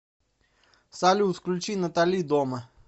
салют включи натали дома